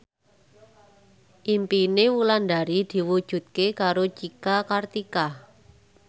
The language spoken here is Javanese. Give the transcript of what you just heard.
impine Wulandari diwujudke karo Cika Kartika